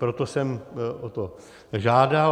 Proto jsem o to žádal.